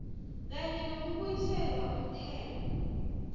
kanye nokubuyiselwa umthelo